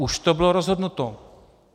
Už to bylo rozhodnuto.